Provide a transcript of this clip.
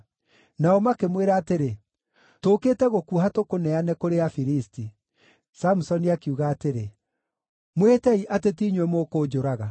Nao makĩmwĩra atĩrĩ, “Tũũkĩte gũkuoha tũkũneane kũrĩ Afilisti.” Samusoni akiuga atĩrĩ, “Mwĩhĩtei atĩ ti inyuĩ mũkũnjũraga.”